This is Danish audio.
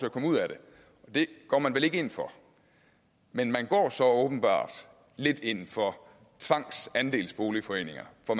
at komme ud at det det går man vel ikke ind for men man går så åbenbart lidt ind for tvangsandelsboligforeninger for